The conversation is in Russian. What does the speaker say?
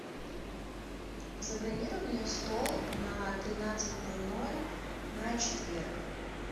забронируй мне стол на тринадцать ноль ноль на четверг